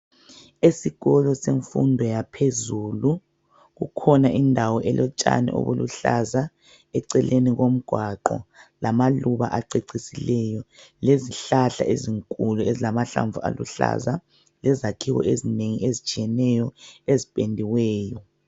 Esikolo semfundo yaphezulu kukhona indawo elotshani obuluhlaza eceleni komgwaqo lamaluba acecisileyo lezihlahla ezinkulu ezilamahlamvu aluhlaza lezakhiwo ezinengi ezitshiyeneyo ezipendiweyo.